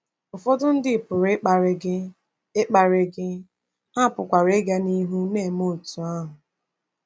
Ụfọdụ ndị pụrụ ‘ịkparị gị,’ ‘ịkparị gị,’ ha pụkwara ịga n’ihu na-eme otú ahụ.